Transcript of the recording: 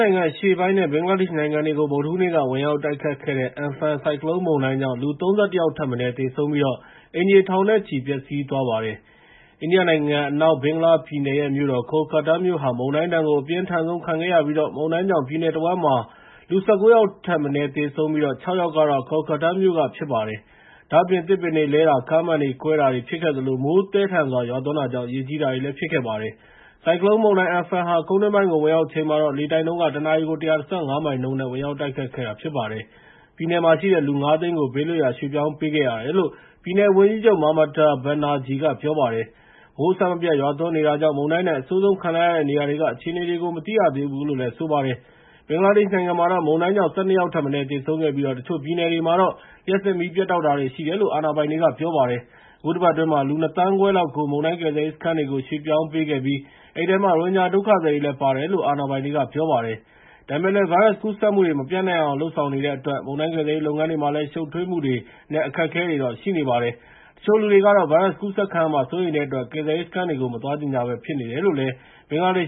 နိုင်ငံ အရှေ့ပိုင်း နဲ့ ဘင်္ဂလားဒေ့ရှ်နိုင်ငံတွေကို ဗုဒ္ဓဟူးနေ့က ဝင်ရောက်တိုတ်ခတ်ခဲ့တဲ့ Amphan ဆိုင်ကလုန်းမုန်တိုင်းကြောင့် အိန္ဒိယနဲ့ ဘင်္ဂလားဒေ့ရှ်နိုင်ငံတွေမှာ လူ ၃၁ ယောက်ထက်မနည်း သေဆုံးပြီး အိမ်ခြေထောင်နဲ့ချီ ပျက်စီးသွားပါတယ်။ အိန္ဒိယနိုင်ငံ အနောက်ဘင်္ဂလားပြည်နယ်ရဲ့မြို့တော် Kolkata မြို့ဟာ မုန်တိုင်းဒဏ်ကို အပြင်းထန်ဆုံးခံခဲ့ရပြီး မုန်တိုင်းကြောင့် ပြည်နယ်တဝန်း ၁၉ ယောက်သေဆုံးပြီး ခြောက် ယောက်က Kolkata မြို့ကဖြစ်ပါတယ်။ ဒါ့အပြင် သစ်ပင်တွေလဲတာ၊ ကားမှန်တွေကွဲတာဖြစ်ခဲ့သလို မိုးသည်းထန်စွာရွာတာကြောင့် ရေကြီးခဲ့ပါတယ်။ ဆိုင်ကလုန်းမုန်ုတိုင်း Amphan ဟာ ကုန်းတွင်းပိုင်းကို ဝင်ရောက်ချိန်မှာတော့ လေတိုက်နှုန်း တနာရီကို ၁၁၅ မိုင်နှုန်းနဲ့ ဝင်ရောက်တိုက်ခတ်ခဲ့တာဖြစ်ပါတယ်။ ပြည်နယ်မှာရှိတဲ့ လူ ၅၀၀,၀၀၀ ကို ဘေးလွတ်ရာကို ရွှေ့ပြောင်းပေးခဲ့တယ်လို့ ပြည်နယ်ဝန်ကြီးချုပ် Mamata Banerjee က ပြောပါတယ်။ မိုးအဆက်မပြတ်ရွာသွန်းနေတာကြောင့် မုန်တိုင်းဒဏ်အဆိုးဆုံး ခံလိုက်ရတဲ့နေရာတွေက အခြေအနေတွေကို မသိနိုင်သေးဘူးလို့ ပြောပါတယ်။ ဘင်္ဂလားဒေ့ရှ်နိုင်ငံမှာတော့ မုန်တိုင်းကြောင့် ၁၂ ယောက်ထက်မနည်းသေဆုံးခဲ့ပြီး တချို့ပြည်နယ်တွေမှာတော့ လျှပ်စစ်မီးပြတ်တောက်တာတွေ ရှိတယ်လို့ အာဏာပိုင်တွေက ပြောပါတယ်။ အခုတပတ်အတွင်းမှာ လူ ၂,၅၀၀,၀၀၀ ခွဲလောက်ကို မုန်တိုင်း ကယ်ဆယ်ရေးစခန်းတွေကို ရွှေ့ပြောင်းပေးခဲ့ပြီး အဲဒီထဲမှာ ရိုဟင်ဂျာဒုက္ခသည်တွေလည်း ပါတယ်လို့ အာဏာပိုင်တွေကပြောပါတယ်။ ဒါပေမဲ့လည်း ဗိုင်းရပ်စ်ကူးစက်မှုတွေ မပျံ့နှံ့ရအောင်လုပ်ဆောင်နေတဲ့အတွက် မုန်တိုင်းကယ်ဆယ်ရေးလုပ်ငန်းတွေမှာလည်း ရှုပ်ထွေးမှုတွေ နဲ့အခက်အခဲတွေတော့ရှိနေပါတယ်။ တချို့လူတွေကတော့ ဗိုင်းရပ်စ်ကူးစက်ခံရမှာစိုးရိမ်တဲ့အတွက် ကယ်ဆယ်ရေးစခန်းတွေကို မသွားချင်ကြပဲဖြစ်နေတယ်လို့ ရဲကပြောပါတယ်